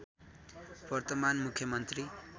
वर्तमान मुख्यमन्त्री